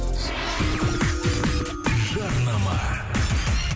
жарнама